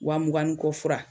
Wa muga ni kɔ fura.